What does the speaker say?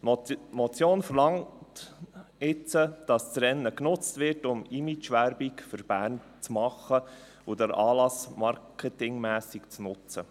Die Motion verlangt nun, dass das Rennen genutzt wird, um Imagewerbung für Bern zu machen und den Anlass marketingmässig zu nutzen.